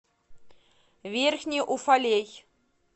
верхний уфалей